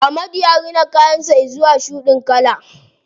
Ahmadu ya rina kayan sa zuwa shuɗin kala.